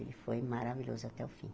Ele foi maravilhoso até o fim.